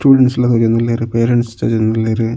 Students ಲ ತೋಜೊಂದುಲ್ಲೆರ್ parents ತೋಜೊಂದುಲ್ಲೆರ್.